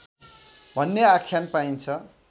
भन्ने आख्यान पाइन्छ